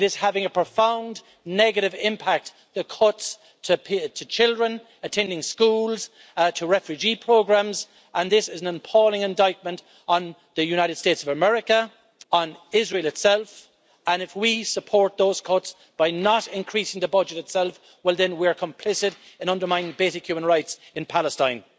It is having a profound negative impact that cuts to children attending schools, to refugee programmes, and this is an appalling indictment on the United States of America, on Israel itself, and if we support those cuts by not increasing the budget, then we are complicit in undermining basic human rights in Palestine.